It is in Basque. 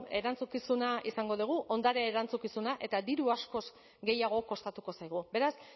erantzukizuna izango dugu ondare erantzukizuna eta diru askoz gehiago kostatuko zaigu beraz